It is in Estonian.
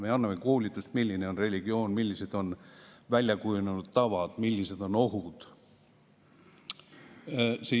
Me teeme koolitusi, milline on religioon, millised on välja kujunenud tavad, millised on ohud.